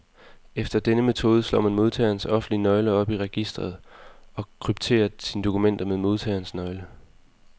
Efter denne metode slår man modtagerens offentlige nøgle op i registret, og krypterer sine dokumenter med modtagerens nøgle.